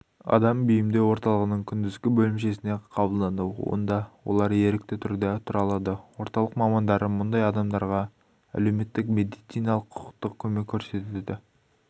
адам бейімдеу орталығының күндізгі бөлімшесіне қабылданды онда олар ерікті түрде тұра алады орталық мамандары мұндай адамдарға әлеуметтік медициналық құқықтық көмек көрсетеді